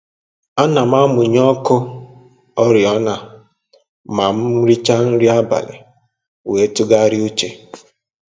Ana m amụnye ọkụ oriọna ma m richa nri abalị wee tụgharịa uche